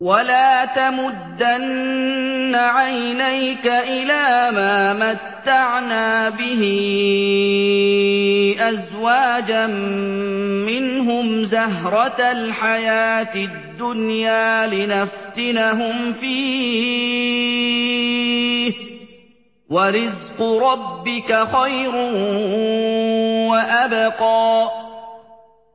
وَلَا تَمُدَّنَّ عَيْنَيْكَ إِلَىٰ مَا مَتَّعْنَا بِهِ أَزْوَاجًا مِّنْهُمْ زَهْرَةَ الْحَيَاةِ الدُّنْيَا لِنَفْتِنَهُمْ فِيهِ ۚ وَرِزْقُ رَبِّكَ خَيْرٌ وَأَبْقَىٰ